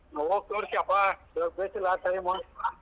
ಆ ಹೋಗ್ ತೋರ್ಸ್ಕ್ಯೊ ಪ .